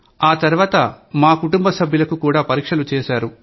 ఆతర్వాత మాకుటుంబ సభ్యులకు కూడా పరీక్షలు చేశారు